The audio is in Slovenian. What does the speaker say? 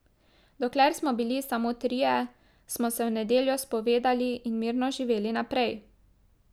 Dokler smo bili samo trije, smo se v nedeljo spovedali in mirno živeli naprej!